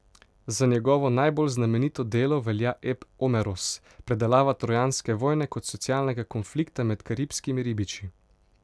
Za njegovo najbolj znamenito delo velja ep Omeros, predelava trojanske vojne kot socialnega konflikta med karibskimi ribiči.